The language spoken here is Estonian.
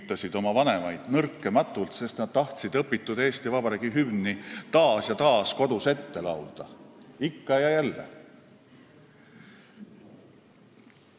– tüütasid oma vanemaid nõrkematult, sest nad tahtsid õpitud Eesti Vabariigi hümni taas ja taas kodus ette laulda, ikka ja jälle.